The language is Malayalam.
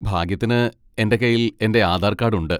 ഭാഗ്യത്തിന് എന്റെ കൈയിൽ എന്റെ ആധാർ കാഡ് ഉണ്ട്.